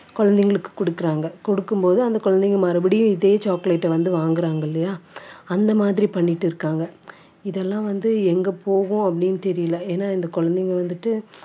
குழந்தைகளுக்கு குடுக்கறாங்க குடுக்கும்போது அந்த குழந்தைங்க மறுபடியும் இதே chocolate அ வந்து வாங்கறாங்க இல்லையா அந்த மாதிரி பண்ணிட்டு இருக்காங்க இதெல்லாம் வந்து எங்க போகும் அப்படின்னு தெரியலே ஏன்னா இந்த குழந்தைங்க வந்துட்டு